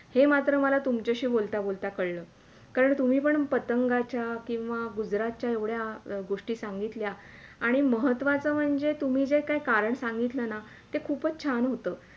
हे मात्र मला तुमच्याशी बोलता - बोलता कळलं कारण तुम्ही पतंगाच्या किंवा गुजरातच्या येवढ्या गोष्टी सांगितल्या आणि महत्वाचं म्हणजे तुम्ही जे कारण सांगितले ना ते खूपच छान होता